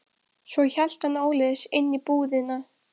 Svo hélt hann áleiðis inn í búðina.